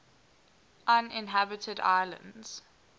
uninhabited islands